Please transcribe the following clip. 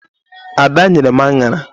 Ada nyere m aṅara.